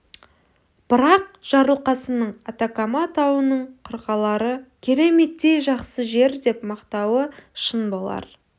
бірақ жарылқасынның атакама тауының қырқалары кереметтей жақсы жер деп мақтауы шын болар